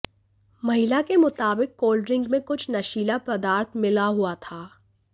महिला के मुताबिक कोल्ड ड्रिंक में कुछ नशीला पदार्थ मिला हुआ था